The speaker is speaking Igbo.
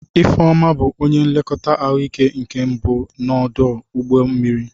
Ifeoma bụ onye nlekọta ahụike nke mbụ n'ọdụ ụgbọ mmiri.